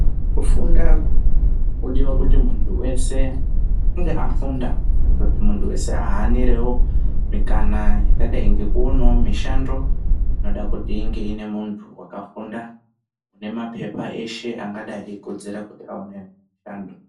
Kufunda kunodiwa kuti muntu weshe ange afunda kuti ahanirewo mikana yakadai ngekuonawo mushando ingada kuti inge ine muntu wakafunda une mapepa eshe angadai eikodzera kuti aone mushando.